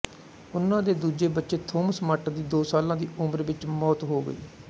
ਉਨ੍ਹਾਂ ਦੇ ਦੂਜੇ ਬੱਚੇ ਥੌਮਸ ਮੱਟ ਦੀ ਦੋ ਸਾਲਾਂ ਦੀ ਉਮਰ ਵਿੱਚ ਮੌਤ ਹੋ ਗਈ